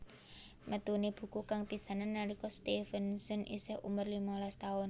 Metuné buku kang pisanan nalika Stevenson isih umur limalas taun